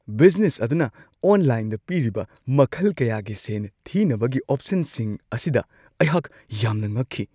Business ꯑꯗꯨꯅ ꯑꯣꯟꯂꯥꯏꯟꯗ ꯄꯤꯔꯤꯕ ꯃꯈꯜ ꯀꯌꯥꯒꯤ ꯁꯦꯟ ꯊꯤꯅꯕꯒꯤ ꯑꯣꯞꯁꯟꯁꯤꯡ ꯑꯁꯤꯗ ꯑꯩꯍꯥꯛ ꯌꯥꯝꯅ ꯉꯛꯈꯤ ꯫